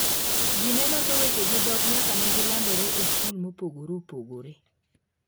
Ji ne loso weche gi dhok nyaka ne gilandore e skul mopogore opogore.